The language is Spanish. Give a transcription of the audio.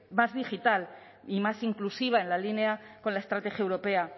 más digital y más inclusiva en la línea con la estrategia europea